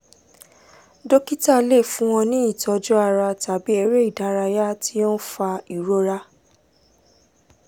dókítà tún lè fún ọ ní ìtọ́jú ara tàbí eré ìdárayá tí ó ń fa ìrora